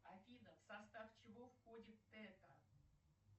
афина в состав чего входит тета